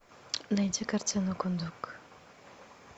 найти картину кундук